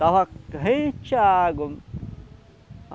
Estava rente à água.